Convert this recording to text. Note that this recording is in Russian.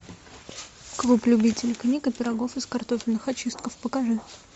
клуб любителей книг и пирогов из картофельных очистков покажи